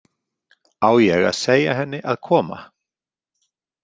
Á ég að segja henni að koma?